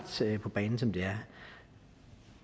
på banen som de er